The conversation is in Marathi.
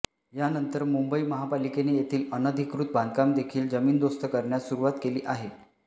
यानंतर मुंबई महापालिकेने येथील अनधिकृत बांधकाम देखील जमीनदोस्त करण्यास सुरूवात केली आहे